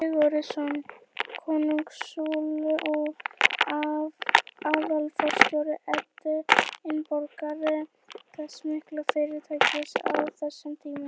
Sigurðsson, konsúll og aðalforstjóri Edinborgar, þess mikla fyrirtækis á þeim tíma.